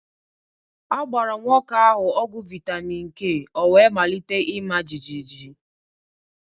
A gbara nwoke ahụ ọgwụ vitamin k wee malite ịma jijiji